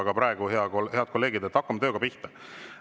Aga praegu, head kolleegid, hakkame tööga pihta.